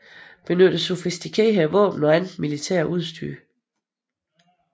Benytter sofistikerede våben og andet militært udstyr